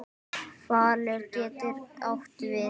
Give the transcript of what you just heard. Falur getur átt við